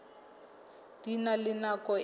di na le nako e